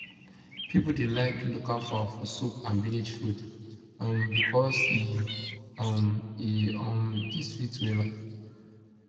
people dey like local fowl for soup and village food um because e um e um dey sweet wella